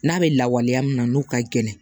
N'a bɛ lawaleya min na n'u ka gɛlɛn